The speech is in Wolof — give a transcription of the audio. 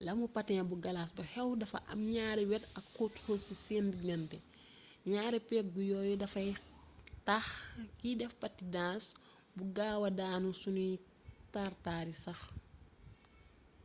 lamu patin bu galas bu xew dafa am ñaari wet ak xóot xóot ci seen diggante ñaari pegg yooyu dafay tax kiy def patinas bu gaawaa daanu suñuy tar-tari sax